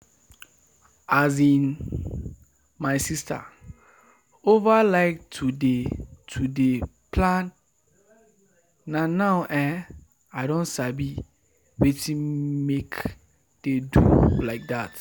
as in my sister over like to dey to dey plan na now ehnn i don sabi wetin make dey do like that